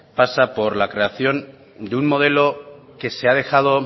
pasa por la creación de un modelo que se ha dejado